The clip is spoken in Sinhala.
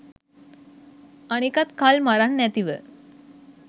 අනිකත් කල් මරන් නැතිව